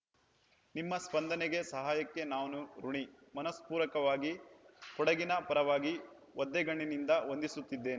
ನಿಮ್ಮ ಸ್ಪಂದನೆಗೆ ಸಹಾಯಕ್ಕೆ ನಾನು ಋಣಿ ಮನಸ್ಪೂರ್ವಕವಾಗಿ ಕೊಡಗಿನ ಪರವಾಗಿ ಒದ್ದೆಗಣ್ಣಿನಿಂದ ವಂದಿಸುತ್ತಿದ್ದೇನೆ